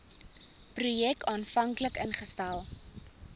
projek aanvanklik ingestel